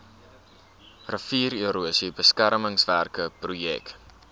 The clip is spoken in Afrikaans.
riviererosie beskermingswerke projek